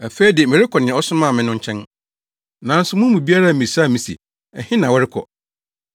“Afei de, merekɔ nea ɔsomaa me no nkyɛn. Nanso mo mu biara mmisaa me se, ‘Ɛhe na worekɔ?’